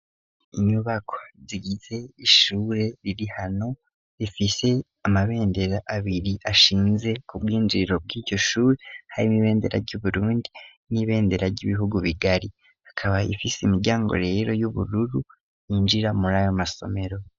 Inyubako zigize ishure riri hano rifise amabendera abiri ashinze ku bwinjiriro bw'iryo shuri hari ibendera ry'uburundi n'ibendera ry'ibihugu bigari; ikaba ifise imiryango rero y'ubururu yinjira muri ayo masomero.